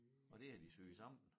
Og det har de syet sammen